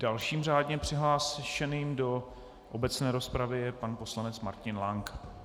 Dalším žádně přihlášeným do obecné rozpravy je pan poslanec Martin Lank.